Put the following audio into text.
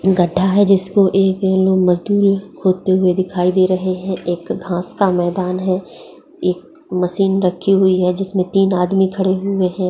गड़ा है। जिसको एक ये लोग मजदूर लोग खोदते हुए दिखाई दे रहे हैं। एक घास का मैदान है एक मशीन रखी हुई है। जिसमें तीन आदमी खड़े हुए हैं।